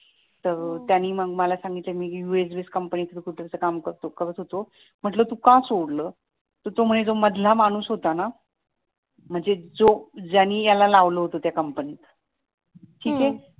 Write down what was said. तर त्यांनी मग मला सांगितलं मी यूएस बेस कंपनी थ्रू कुठल तर काम करत होतो म्हटलं तू का सोडलं तर तो म्हणे जो मधला माणूस होता ना म्हणजे जो ज्यांनी याला लावेल होत त्या कंपनीत